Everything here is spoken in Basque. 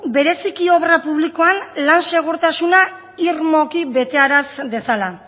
bereziki obra publikoan lan segurtasuna irmoki betearaz dezala